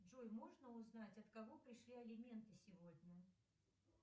джой можно узнать от кого пришли алименты сегодня